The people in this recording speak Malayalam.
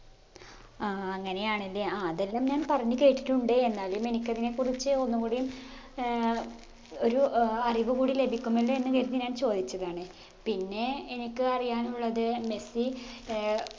ആ അങ്ങനെയാണല്ലെ ആ അതെല്ലാം ഞാൻ പറഞ്ഞ് കേട്ടിട്ടുണ്ട് എന്നാലും എനിക്കതിനെ കുറിച്ച് ഒന്നും കൂടിയും ഏർ ഒരു ഏർ അറിവ് കൂടി ലഭിക്കുമല്ലോ എന്ന് കരുതി ഞാൻ ചോദിച്ചതാണ് പിന്നെ എനിക്ക് അറിയാനുള്ളത് മെസ്സി ഏർ